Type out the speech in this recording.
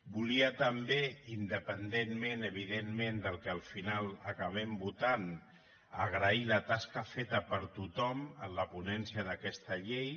volia també independentment evidentment del que al final acabem votant agrair la tasca feta per tothom en la ponència d’aquesta llei